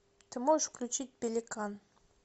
ты можешь включить пеликан